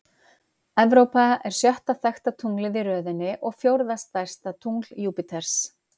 Evrópa er sjötta þekkta tunglið í röðinni og fjórða stærsta tungl Júpíters.